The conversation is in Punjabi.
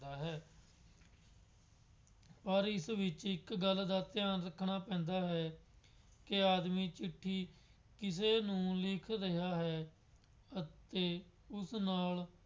ਹੈ। ਪਰ ਇਸ ਵਿੱਚ ਇੱਕ ਗੱਲ ਦਾ ਧਿਆਨ ਰੱਖਣਾ ਪੈਂਦਾ ਹੈ ਕਿ ਆਦਮੀ ਚਿੱਠੀ ਕਿਸੇ ਨੂੰ ਲਿਖ ਰਿਹਾ ਹੈ ਅਤੇ ਉਸ ਨਾਲ